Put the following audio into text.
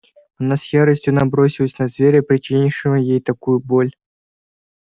она с яростью набросилась на зверя причинившего ей такую боль